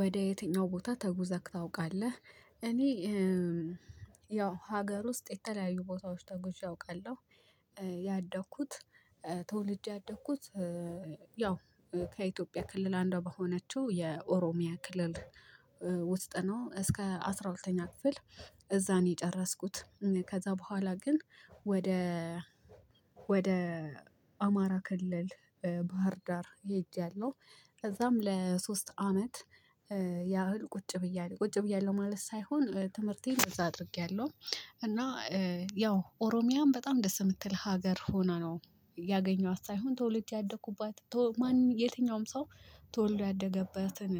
ወደ የትኛው ቦታ ተጉዘህ ታውቃለህ? እኔ ያው ሀገር ውስጥ የተለያዩ ቦታዎች ተጉዤ አውቃለሁ። ያደኩት ተወልጄ ያደኩት ያው ከኢትዮጵያ ክልል አንዷ በሆነችው የኦሮሚያ ክልል። ውስጥ ነው እስከ አስራ ሁለተኛ ክፍል። እዛን የጨረስኩት ከዛ በኋላ ግን ወደ ወደ አማራ ክልል ባህር ዳር ሄጃለሁ። ከዛም ለሶስት አመት ያህል ቁጭ ብያለሁ ቁጭ ብያለሁ ማለት ሳይሆን ትምህርቴን በዛ አድርጌያለሁ። እና ያው ኦሮሚያም በጣም ደስ የምትል ሀገር ሆና ነው ያገኘዋት ሳይሆን ቶወልጄቲ ያደኩባት ማን የትኛውም ሰው ተወልዶ ያደገበትን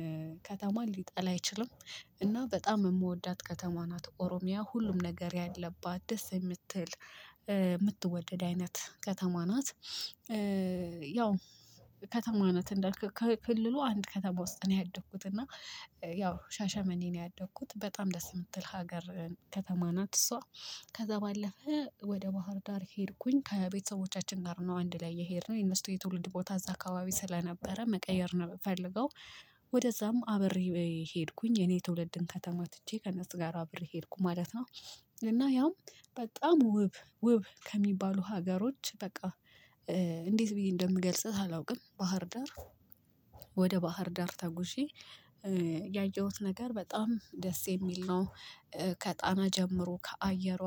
ከተማ ሊጠላ አይችልም። እና በጣም የምወዳት ከተማ ናት ኦሮሚያ ሁሉም ነገር ያለባት ደስ የምትል የምትወደድ አይነት ከተማ ናት። ያው ከተማ ናት እንዳልክ ክልሉ አንድ ከተማ ውስጥ ነው ያደግኩት እና ያው ሻሸመኔ ነው ያደኩት በጣም ደስ የምትል ሀገር ከተማ ናት። እሷ ከዛ ባለፈ ወደ ባህር ዳር ሄድኩኝ ከቤተሰቦቻችን ጋር ነው አንድ ላይ የሄድን የነሱ የትውልድ ቦታ እዛ አካባቢ ስለነበረ መቀየር የምፈልገው ወደዛም አብሬ ሄድኩኝ የኔ ትውልድን ከተማ ትቼ ከእነሱ ጋር አብሬ ሄድኩ ማለት ነው። እና ያውም በጣም ውብ ውብ ከሚባሉ ሀገሮች በቃ እንዴት ብዬ እንደምገልጽት አላውቅም። ባህር ዳር ወደ ባህር ዳር ታጉዤ ያየሁት ነገር በጣም ደስ የሚል ነው። ከጣና ጀምሮ ከአየሯ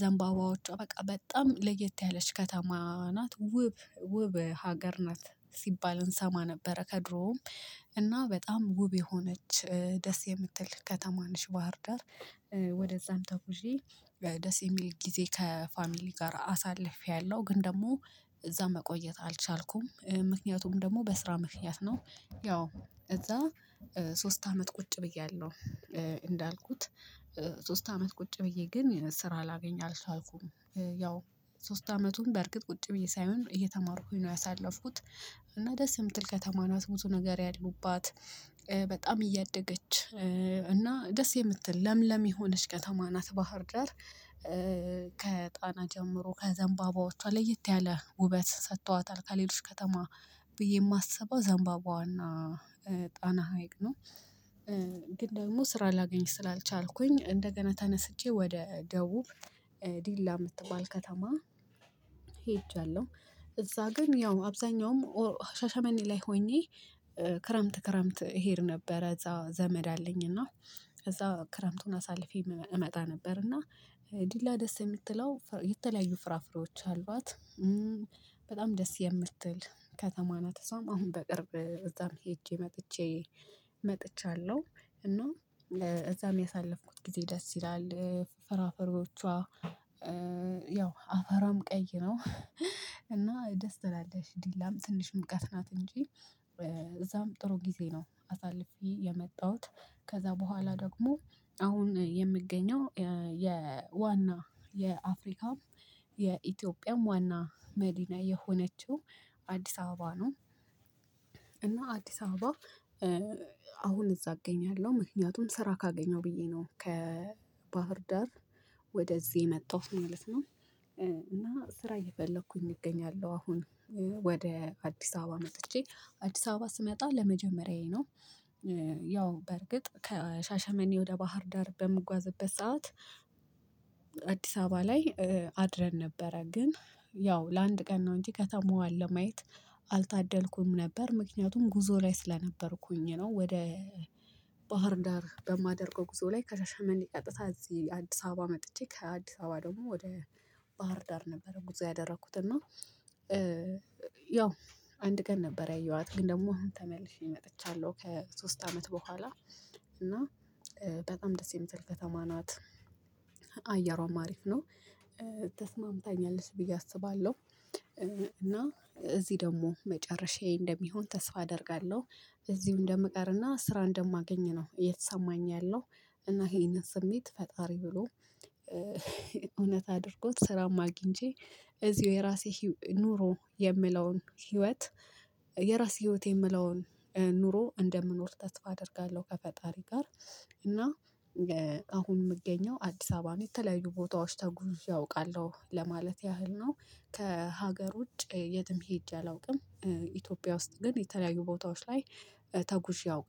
ዘንባባዎቿ በቃ በጣም ለየት ያለች ከተማ ናት ውብ ውብ ሀገር ናት። ሲባል እንሰማ ነበረ ከድሮውም እና በጣም ውብ የሆነች ደስ የምትል ከተማነሽ ባህር ዳር። ተጉዤ ደስ የሚል ጊዜ ከፋሚሊ ጋር አሳልፌያለሁ ግን ደግሞ እዛ መቆየት አልቻልኩም ምክንያቱም ደግሞ በስራ ምክንያት ነው። ያው እዛ ሶስት አመት ቁጭ ብያለሁ። እንዳልኩት ሶስት አመት ቁጭ ብዬ ግን ስራ አላገኝ አልሻልኩም። ያው ሶስት አመቱን በእርግጥ ቁጭ ብዬ ሳይሆን እየተማርኩኝ ነው ያሳለፍኩት። እና ደስ የምትል ከተማ ናት ብዙ ነገር ያሉባት በጣም እያደገች እና ደስ የምትል ለምለም የሆነች ከተማ ናት። ባህር ደር ከጣና ጀምሮ ከዘንባባዎቿ ለየት ያለ ውበት ሰጥቷታል ከሌሎች ከተማ ብዬ የማስበው ዛንባባዋና ጣና ሀይቅ ነው። ግን ደግሞ ስራ ላገኝ ስላልቻልኩኝ እንደገና ተነስቼ ወደ ደቡብ ዲላ የምትባል ከተማ ሄጃለሁ። እዛ ግን ያው አብዛኛውም ሻሻመኔ ላይ ሆኜ ክረምት ክረምት እሄድ ነበረ እዛ ዘመድ አለኝ እና እዛ ክረምቱን አሳልፌ እመጣ ነበር እና ዲላ ደስ የምትለው የተለያዩ ፍራፍሬዎች አሏት። በጣም ደስ የምትል ከተማ ናት እሷም አሁን በቅርብ እዛም ሄጄ መጥቼ መጥቻለሁ እና እዛም ያሳለፍኩት ጊዜ ደስ ይላል። ፈራፈሪዎቿ አፈራም ቀይ ነው እና ደስ ትላለች ዲላም ትንሽ ምቀትናት እንጂ እዛም ጥሩ ጊዜ ነው አሳልፌ የመጣሁት። ከዛ በኋላ ደግሞ አሁን የምገኘው የዋና የአፍሪካም የኢትዮጵያም ዋና መዲና የሆነችው አዲስ አበባ ነው። እና አዲስ አበባ አሁን እዛ አገኛለሁ ምክንያቱም ስራ ካገኘሁ ብዬ ነው ከባህር ዳር ወደዚህ የመጣሁት ማለት ነው። እና ስራ እየፈለኩኝ እገኛለሁ አሁን ወደ አዲስ አበባ መጥቼ አዲስ አበባ ስመጣ ለመጀመሪያዬ ነው። ያው በርግጥ ከሻሸመኔ ወደ ባህር ዳር በምጓዝበት ሰዓት አዲስ አበባ ላይ አድረን ነበረ ግን ያው ለአንድ ቀን ነው እንጂ ከተማዋን ለማየት አልታደልኩም ነበር ምክንያቱም ጉዞ ላይ ስለነበርኩኝ ነው። ወደ ባህር ዳር በማደርገው ጉዞ ላይ ከሻሻመኔ ቀጥታ እዚህ አዲስ አበባ መጥቼ ከአዲስ አበባ ደግሞ ወደ ባህር ዳር ነበረው ጉዞ ያደረኩት እና ያው አንድ ቀን ነበር ያየኋት ግን ደግሞ ተመልሼ መጥቻለሁ ከሶስት አመት በኋላ። እና በጣም ደስ የምትል ከተማ ናት። አያሯም አሪፍ ነው። ተስማምታኛለች ቢየ አስባለሁ እና እዚህ ደግሞ መጨረሻዬ እንደሚሆን ተስፋ አደርጋለሁ። እዚሁ እንደምቀርና ስራ እንደማገኝ ነው የተሰማኝ ያለው። እና ይሄንን ስሜት ፈጣሪ ብሎ እውነት አድርጎት ስራም አግኝቼ እዚሁ የራሴ ኑሮ የምለውን ህይወት የራስ ህይወት የምለውን ኑሮ እንደምኖር ተስፋ አደርጋለሁ። ከፈጣሪ ጋር እና አሁን የምገኘው አዲስ አበባ ነው የተለያዩ ቦታዎች ተጉዥ አውቃለሁ ለማለት ያህል ነው። ከሀገር ውጭ የትም ሄጄ አላውቅም። ኢትዮጵያ ውስጥ ግን የተለያዩ ቦታዎች ላይ ተጉዤ አውቅ